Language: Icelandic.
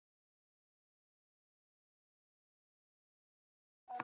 Hann er búinn að komast að þessu.